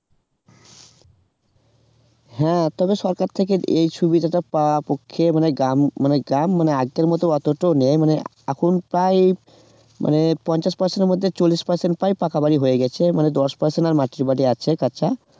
হ্যাঁ তবে সরকার থেকে এই সুবিধাটা পাওয়া পক্ষে মানে গ্রাম মানে গ্রাম মানে নেই মানে এখন প্রায় মানে পঞ্চাশ percent এর মধ্যে চল্লিশ percent প্রায় পাকা বাড়ি হয়ে গেছে মানে দশ percent আর মাটির বাড়ি আছে কাঁচা